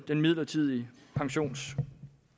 den midlertidige pensionsskat